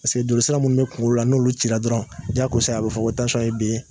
Paseke jolisira minnu bɛ kun na n'olu cira dɔrɔnw, jaagosa, a bɛ fɔ ko tansɔn y'e bi!